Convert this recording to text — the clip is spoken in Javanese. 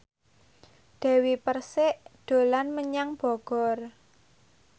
Dewi Persik dolan menyang Bogor